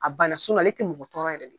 A bana ale ti mɔgɔ tɔɔrɔ yɛrɛ